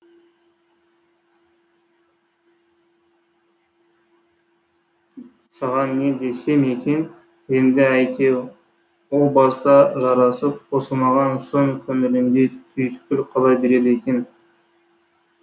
саған не десем екен енді әйтеу о баста жарасып қосылмаған соң көңіліңде түйткіл қала береді екен